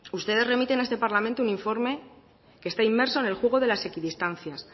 ustedes remiten a este parlamento un informe que está inmerso en el juego de la equidistancias